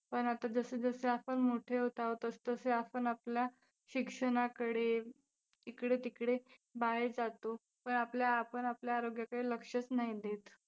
पण आता जसं जसं आपण मोठे होत आहोत तसं तसे आपण आपल्या शिक्षणाकडे, इकडे-तिकडे बाहेर जातो पण आपल्या आपण आपल्या आरोग्याकडे लक्षच नाही देत.